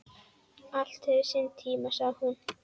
Allt hefur sinn tíma, sagði hún.